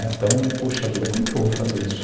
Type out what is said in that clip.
Então, poxa vida, como é que eu vou fazer isso?